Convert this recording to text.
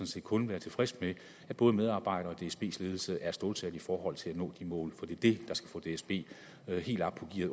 set kun være tilfreds med at både medarbejdere og dsbs ledelse er stålsatte i forhold til at nå de mål er det der skal få dsb helt op i